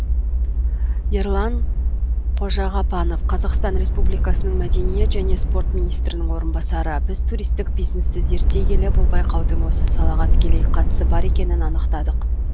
ерлан қожағапанов қазақстан республикасының мәдениет және спорт министрінің орынбасары біз туристік бизнесті зерттей келе бұл байқаудың осы салаға тікелей қатысы бар екенін анықтадық